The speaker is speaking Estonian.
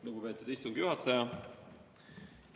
Lugupeetud istungi juhataja!